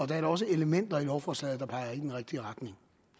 der er da også elementer i lovforslaget der peger i den rigtige retning